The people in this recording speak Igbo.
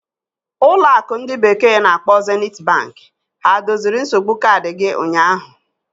ụlọ akụ ndi bekee na-akpo Zeniti Banki ha doziri nsogbu kaadị gị ụnyaahụ?